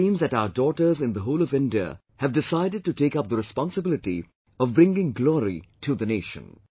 It seems that our daughters in the whole of India have decided to take up the responsibility of bringing glory to the nation